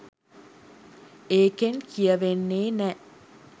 ඒකෙන් කියවෙන්නෙ නෑ